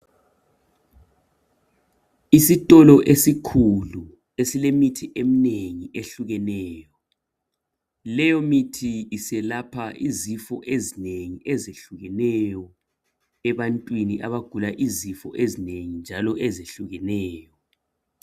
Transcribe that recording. Isitolo esikhulu esilemithi eminengi ehlukeneyo. Leyo mithi iselapha izifo ezinengi zehlukeneyo , ebantwini abagula izifo ezinengi njalo ezihlukeneyo.